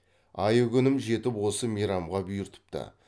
айы күнім жетіп осы мейрамға бұйыртыпты